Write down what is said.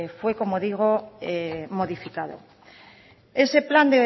fue como digo modificado ese plan